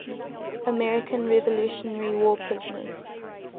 american revolutionary war prisoners